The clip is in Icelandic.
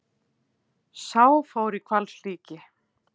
Sá fór í hvalslíki.